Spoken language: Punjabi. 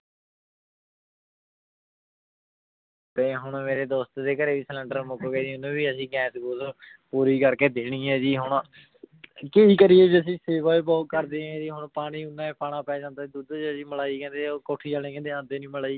ਤੇ ਹੁਣ ਮੇਰੇ ਦੋਸਤ ਦੇ ਘਰੇ ਵੀ ਸਿਲੈਂਡਰ ਮੁੱਕ ਗਿਆ ਜੀ ਉਹਨੂੰ ਵੀ ਅਸੀਂ ਗੈਸ ਗੂਸ ਪੂਰੀ ਕਰਕੇ ਦੇਣੀ ਹੈ ਜੀ ਹੁਣ ਕੀ ਕਰੀਏ ਜੀ ਅਸੀਂ ਸੇਵਾ ਹੀ ਬਹੁਤ ਕਰਦੇ ਆਂ ਜੀ ਹੁਣ ਪਾਣੀ ਮੈਂ ਪਾਉਣਾ ਪੈ ਜਾਂਦਾ ਦੁੱਧ ਚ ਜੀ ਮਲਾਈ ਕਹਿੰਦੇ ਉਹ ਕੋਠੀ ਵਾਲੇ ਕਹਿੰਦੇ ਆਉਂਦੀ ਨੀ ਮਲਾਈ।